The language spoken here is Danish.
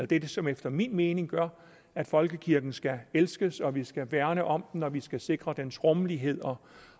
det som efter min mening gør at folkekirken skal elskes at vi skal værne om den at vi skal sikre dens rådighed og